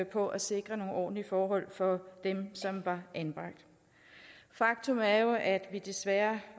på at sikre nogle ordentlige forhold for dem som var anbragt faktum er jo at vi desværre